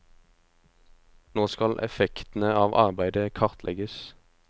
Nå skal effektene av arbeidet kartlegges.